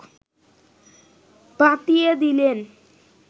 বাতিয়ে দিলেন